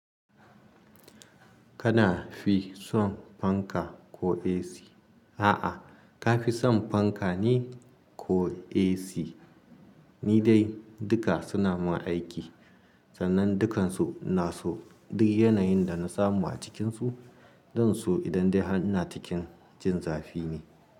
Kana fi son fanka ko AC? A'a, ka fi son fanka ne ko AC? Ni dai duka suna mun aiki, sannan dukansu inaso duk yanayin da na samu a cikinsu. Zan so idan dai ina cikin jin zafi ne.